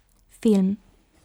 Film.